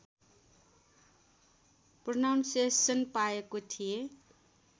pronunciation पाएको थिएँ